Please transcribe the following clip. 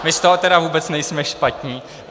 My z toho teda vůbec nejsme špatní.